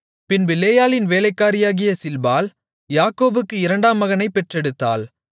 பின்பு லேயாளின் வேலைக்காரியாகிய சில்பாள் யாக்கோபுக்கு இரண்டாம் மகனைப் பெற்றெடுத்தாள்